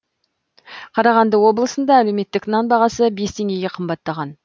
қарағанды облысында әлеуметтік нан бағасы бес теңгеге қымбаттаған